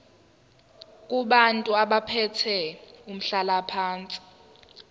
kubantu abathathe umhlalaphansi